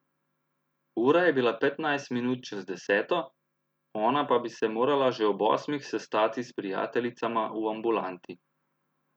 Ura je bila petnajst minut čez deseto, ona pa bi se morala že ob osmih sestati s prijateljicama v ambulanti.